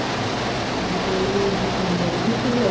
ਵੀ ਕੋਈ ਵੀ disease ਹੋਵੇ ਕੁੱਛ ਵੀ ਹੋਵੇ